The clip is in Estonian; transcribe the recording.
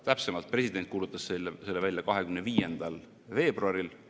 Täpsemalt, president kuulutas selle välja 25. veebruaril.